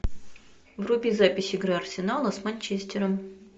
вруби запись игры арсенала с манчестером